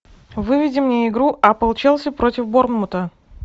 выведи мне игру апл челси против борнмута